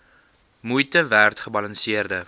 moeite werd gebalanseerde